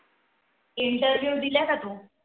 Interview दिल्या का तू?